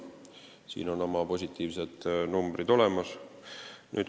Siin on oma positiivsed numbrid olemas.